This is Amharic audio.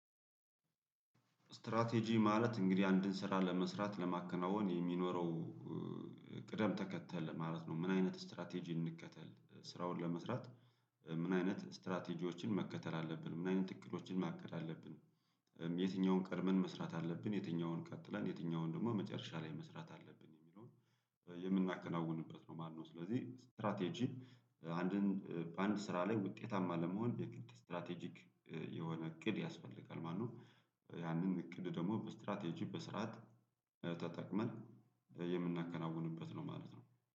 ስትራቴጂ ማለት እንግዲህ አንድን ስራ ለመስራት ለማከናወን የሚኖረው ቅደም ተከተል ማለት ነው ምን አይነት ስትራቴጂ እንከተል ስራውን ለመስራት? ምን አይነት ስትራቴጂዎችን መከተል አለብን ምን አይነት እቅዶችን ማቀድ አለብን? የትኛውን ቀድመን መስራት አለብን የትኛውን ቀጥለን የትኛውን ደግሞ መጨረሻ ላይ መስራት አለብን የሚለውን የምናከናውንበት ነው። ማነው ስለዚህ ስትራቴጂ አንድን በአንድ ስራ ላይ ውጤታማ ለመሆን የግድ ስትራቴጂክ የሆነ እቅድ ያስፈልጋል ማለት ነው። ያንን እቅድ ደግሞ በስትራቴጂ በስርዓት ተጠቅመን የምናከናውንበት ነው ማለት ነው።